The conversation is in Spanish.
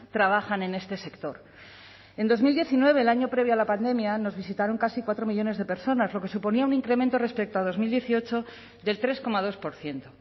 trabajan en este sector en dos mil diecinueve el año previo a la pandemia nos visitaron casi cuatro millónes de personas lo que suponía un incremento respecto a dos mil dieciocho del tres coma dos por ciento